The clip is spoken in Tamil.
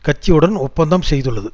கட்சியுடன் ஒப்பந்தம் செய்துள்ளது